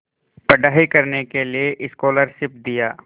पढ़ाई करने के लिए स्कॉलरशिप दिया